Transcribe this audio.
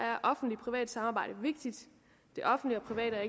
er offentlig privat samarbejde vigtigt det offentlige og private er